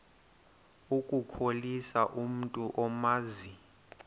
ukukhohlisa umntu omazi